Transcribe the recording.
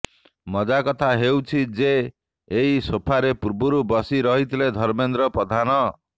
ମଜା କଥା ହେଉଛି ଯେ ଏହି ସୋଫାରେ ପୂର୍ବରୁ ବସି ରହିଥିଲେ ଧର୍ମେନ୍ଦ୍ର ପ୍ରଧାନ